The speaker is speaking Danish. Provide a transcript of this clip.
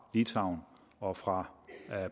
litauen og fra